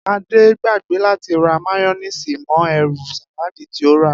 Adé gbagbé láti ra máyó̩néèsì mo̩ e̩rù sàláàdì tí ó rà